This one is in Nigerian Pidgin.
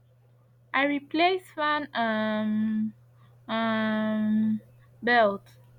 i replace fan um um belt